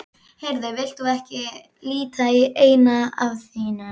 Heyrðu, vilt þú ekki líta í eina af þínum?